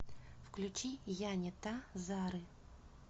включи я не та зары